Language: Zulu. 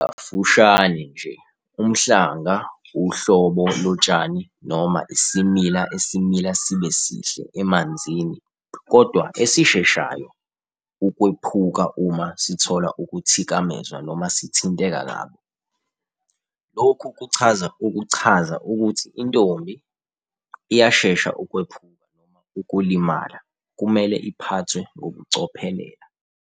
Kafushane-nje, umhlanga uhlobo lotshani noma isimila esimila sibe sihle emanzini kodwa esisheshayo ukwephuka uma sithola ukuthikamezwa noma sithinteka kabi. Lokhu kuchaza ukuchaza ukuthi intombi iyashesha ukwephuka noma ukulimala, kumele iphathwe ngokucophelela.